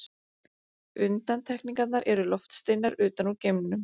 Undantekningar eru loftsteinar utan úr geimnum.